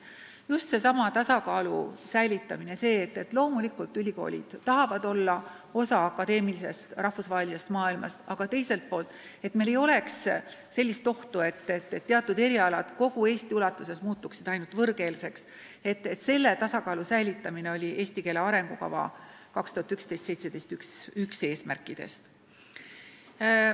Just seesama tasakaalu säilitamine – loomulikult tahavad ülikoolid olla osa akadeemilisest rahvusvahelisest maailmast, aga teiselt poolt ei tohi olla ohtu, et teatud erialad muutuvad kogu Eestis ainult võõrkeelseks – oli üks "Eesti keele arengukava 2011–2017" eesmärk.